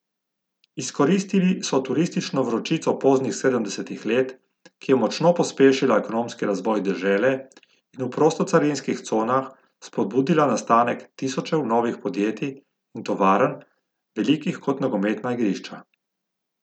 Izkoristili so turistično vročico poznih sedemdesetih let, ki je močno pospešila ekonomski razvoj dežele in v prostocarinskih conah spodbudila nastanek tisočev novih podjetij in tovarn, velikih kot nogometna igrišča.